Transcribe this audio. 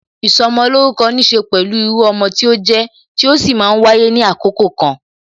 Ìsọmolórúkọ níse pẹ̀lú irú ọmọ tí ó jẹ, tí ó sì máa ń wáyé ní àkókò kan